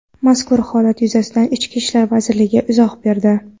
Mazkur holat yuzasidan Ichki ishlar vazirligi izoh berdi .